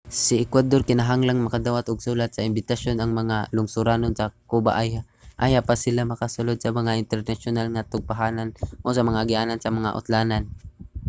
sa ecuador kinahanglang makadawat og sulat sa imbitasyon ang mga lungsuranon sa cuba ayha pa sila makasulod sa mga internasyonal nga tugpahanan o sa mga agianan sa mga utlanan